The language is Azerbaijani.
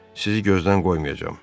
Sizi gözdən qoymayacam.